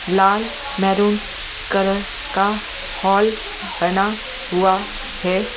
लाल maroon colour का hall बना हुआ है ।